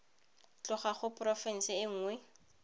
tloga go porofense e nngwe